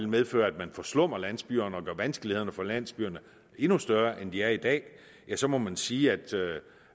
medføre at man forslummer landsbyerne og gør vanskelighederne for landsbyerne endnu større end de er i dag ja så må man sige at